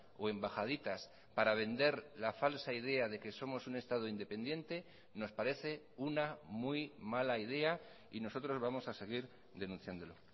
o embajaditas para vender la falsa idea de que somos un estado independiente nos parece una muy mala idea y nosotros vamos a seguir denunciándolo